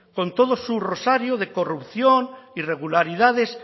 con todo su rosario de corrupción irregularidades